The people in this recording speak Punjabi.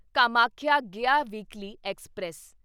Kamakhya Gaya weekly express